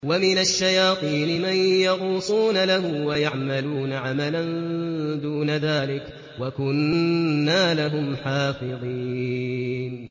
وَمِنَ الشَّيَاطِينِ مَن يَغُوصُونَ لَهُ وَيَعْمَلُونَ عَمَلًا دُونَ ذَٰلِكَ ۖ وَكُنَّا لَهُمْ حَافِظِينَ